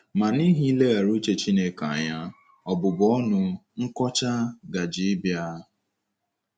Ma n’ihi ileghara uche Chineke anya, ọbụbụ ọnụ, nkọcha, gaje ịbịa.